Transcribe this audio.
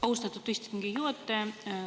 Austatud istungi juhataja!